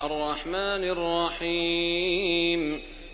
الرَّحْمَٰنِ الرَّحِيمِ